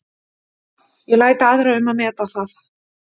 Ég læt aðra um að meta það.